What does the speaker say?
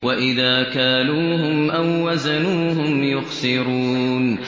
وَإِذَا كَالُوهُمْ أَو وَّزَنُوهُمْ يُخْسِرُونَ